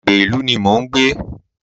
Agbègbè ìlú ní mo ń gbé.